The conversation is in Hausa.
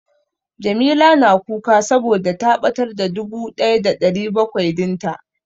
Jamila na kuka saboda ta ɓatar da dubu ɗaya da ɗari bakwai din ta.